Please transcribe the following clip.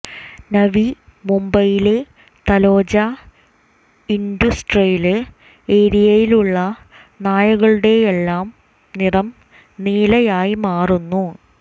നവി മുംബൈയിലെ തലോജ ഇന്റുസ്ട്രിയല് ഏരിയയിലുള്ള നായകളുടെയെല്ലാം നിറം നീലയായി മാറുന്നു